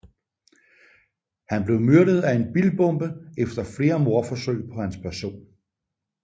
Han blev myrdet af en bilbombe efter flere mordforsøg på hans person